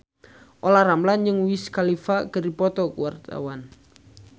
Olla Ramlan jeung Wiz Khalifa keur dipoto ku wartawan